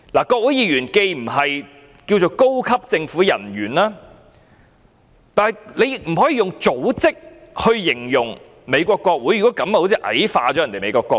國會議員既不能稱為高級政府人員，美國國會也不能以組織來形容，好像矮化了美國國會。